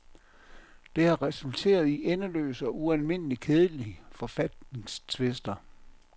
Det har resulteret i endeløse og ualmindeligt kedsommelige forfatningstvister.